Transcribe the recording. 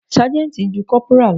Ságẹ́ńtì ju Kọ́pùrà lọ.